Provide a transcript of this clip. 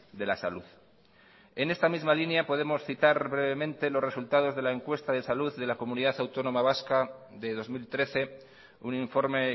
de la salud en esta misma línea podemos citar brevemente los resultados de la encuesta de salud de la comunidad autónoma vasca de dos mil trece un informe